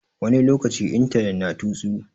Wani lokaci intanet na tutsu.